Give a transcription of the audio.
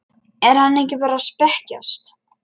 Er hann ekki bara að spekjast?